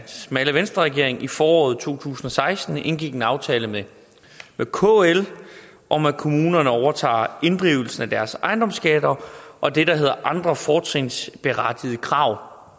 smalle venstreregering i foråret to tusind og seksten indgik en aftale med kl om at kommunerne overtager inddrivelsen af deres ejendomsskatter og det der hedder andre fortrinsberettigede krav